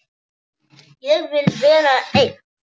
Ég vil vera einn.